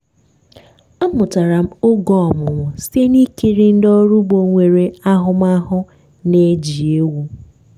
amụtara m oge ọmụmụ site na ikiri ndị ọrụ ugbo nwere ahụmahụ na-eji ewu.